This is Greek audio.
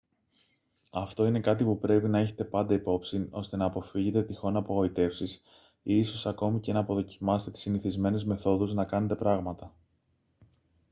αυτό είναι κάτι που πρέπει να έχετε πάντα υπ' όψιν ώστε να αποφύγετε τυχόν απογοητεύσεις ή ίσως ακόμη και να αποδοκιμάσετε τις συνηθισμένες μεθόδους να κάνετε πράγματα